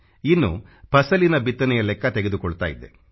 ಇನ್ನು ಫಸಲಿನ ಬಿತ್ತನೆಯ ಲೆಕ್ಕ ತೆಗೆದುಕೊಳ್ಳುತ್ತಾ ಇದ್ದೆ